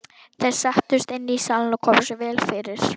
Þeir settust inn í salinn og komu sér vel fyrir.